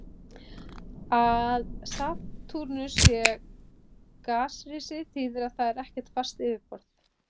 Að Satúrnus sé gasrisi þýðir að þar er ekkert fast yfirborð.